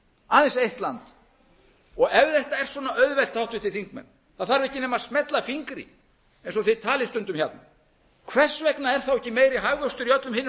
aðeins eitt land og ef þetta er svona auðvelt háttvirtir þingmenn það þarf ekki nema smella fingri eins og þið talið stundum hérna hvers vegna er þá ekki meiri hagvöxtur í öllum hinum löndunum ja